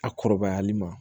A kɔrɔbayali ma